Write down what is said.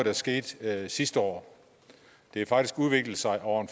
er sket sidste år det har faktisk udviklet sig over en